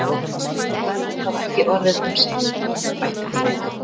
Ef það verður þá ekki orðið um seinan- bætti hún við.